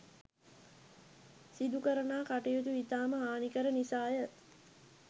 සිදු කරණා කටයුතු ඉතාම හානිකර නිසාය